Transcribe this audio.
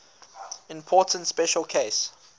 important special case